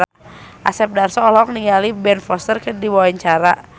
Asep Darso olohok ningali Ben Foster keur diwawancara